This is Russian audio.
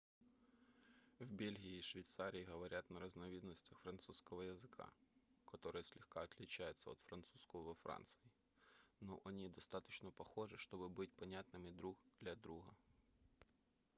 в бельгии и швейцарии говорят на разновидностях французского языка которые слегка отличаются от французского во франции но они достаточно похожи чтобы быть понятными друг для друга